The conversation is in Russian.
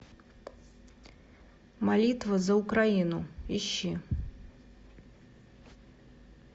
молитва за украину ищи